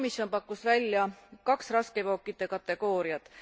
Komisjon pakkus välja kaks raskeveokite kategooriat.